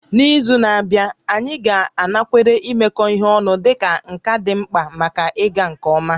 N'izu na-abịa, anyị ga-anakwere imekọ ihe ọnụ dịka nka dị mkpa maka ịga nke ọma